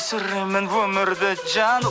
сүремін өмірді жан